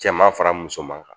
Cɛman fara musoman kan